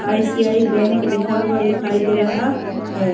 I. C. I. Bank लिखा हुआ दिखाई दे रहा हैं।